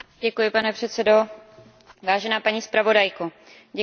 Vážená paní zpravodajko, děkuji za velmi povedenou zprávu.